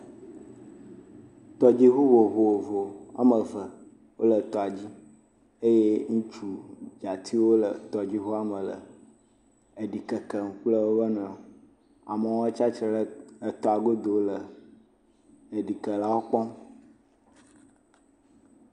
Tɔdziŋu vovovo woame ve wole tɔa dzi eye ŋutsu dzatiwo le tɔdziŋua me le eɖi kekem kple wo nɔewo. Amewo tsatsitre le etɔa godo le eɖikelawo kpɔm.